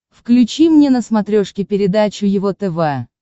включи мне на смотрешке передачу его тв